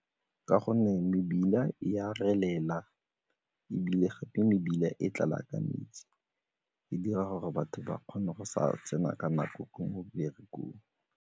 Ka gonne mebila e a relela ebile gape mebila e tlala ka metsi, e dira gore batho ba kgone go sa tsena ka nako meberekong.